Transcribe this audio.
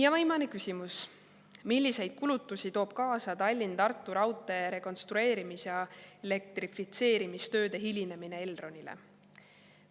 Ja viimane küsimus: "Milliseid kulutusi toob kaasa Tallinn–Tartu raudtee rekonstrueerimis- ja elektrifitseerimistööde hilinemine Elronile?